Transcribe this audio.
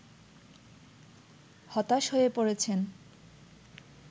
হতাশ হয়ে পড়েছেন